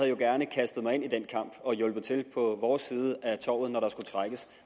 jo gerne kastet mig ind i den kamp og hjulpet til på vores side af tovet når der skulle trækkes